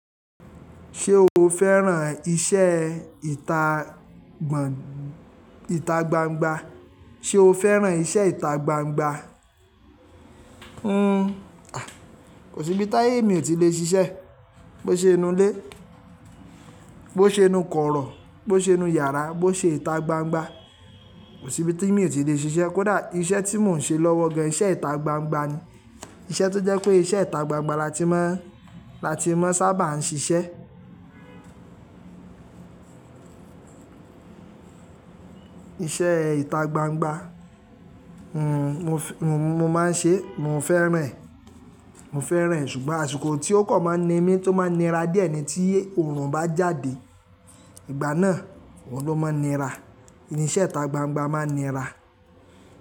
Ṣé o fẹ́ràn iṣẹ́ ìta gbangba? Sé o fẹ́ràn iṣẹ́ ìta gbangba? Kò sí ibi táyé mi ò tí lè ṣiṣẹ́. Bo ṣe inú ilé, bo ṣe inú kọ̀rọ̀, bo ṣe inú yàrá, bo ṣe ìta gbangba, kò sí ibi tí mi ò tí lè ṣiṣẹ́. Kódà iṣẹ́ tí mò ń ṣe lọ́wọ́ gan iṣẹ́ ìta gbangba ni. Iṣẹ́ tó jẹ́ pé iṣẹ́ ìta gbangba lati máa, lati máa sábà ń ṣiṣẹ́. Iṣẹ́ ìta gbangba, n-mo n máa ń ṣe, mo fẹ́ràn ẹ, mo fẹ́ràn ẹ, ṣùgbọ́n àsìkò tí ó kàn máa ń ni mí tó máa nira díẹ̀ ni tí òòrùn bá jáde. Ìgbà náà, òun ló máa ń nira. Niṣẹ́ ìta gbangba máa ń nira.